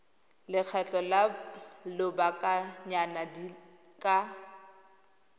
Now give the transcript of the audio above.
lekgetho la lobakanyana di ka